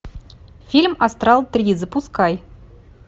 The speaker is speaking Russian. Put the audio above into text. фильм астрал три запускай